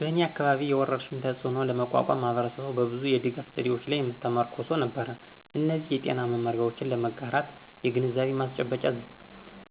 በእኔ አካባቢ፣ የወረርሽኙን ተፅእኖ ለመቋቋም ማህበረሰቡ በብዙ የድጋፍ ዘዴዎች ላይ ተመርኩዞ ነበር። እነዚህ የጤና መመሪያዎችን ለመጋራት የግንዛቤ ማስጨበጫ